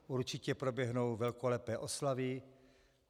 Určitě proběhnou velkolepé oslavy.